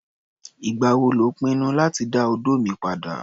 Ìgbà wo lò ń pinnu láti dá odó mi padà?